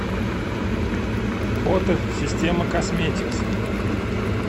фото система косметикс